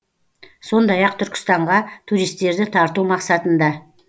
сондай ақ түркістанға туристерді тарту мақсатында